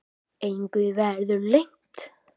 Engu verði leynt.